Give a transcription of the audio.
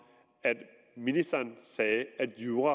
at ministeren sagde at jura